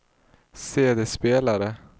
CD-spelare